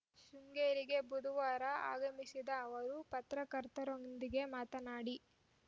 ಶೃಂಗೇರಿಗೆ ಬುಧವಾರ ಆಗಮಿಸಿದ ಅವರು ಪತ್ರಕರ್ತರೊಂದಿಗೆ ಮಾತನಾಡಿ